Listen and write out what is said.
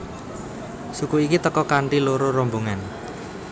Suku iki teka kanthi loro rombongan